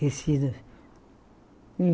Tecido?